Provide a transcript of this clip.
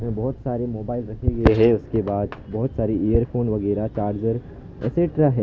बहोत सारे मोबाइल रखे हुए हैं उसके बाद बहोत सारी एयरफोन वगैरा चार्जर एक्स्ट्रा हैं।